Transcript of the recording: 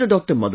After Dr